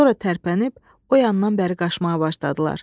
Sonra tərpənib o yandan bəri qaçmağa başladılar.